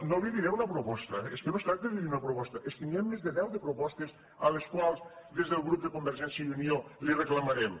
no li diré una proposta és que no es tracta de dir una proposta és que n’hi ha més de deu de propostes que des del grup de convergència i unió li reclamarem